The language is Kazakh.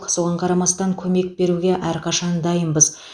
соған қарамастан көмек беруге әрқашан дайынбыз